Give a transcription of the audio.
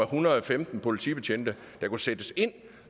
hundrede og femten politibetjente der kan sættes ind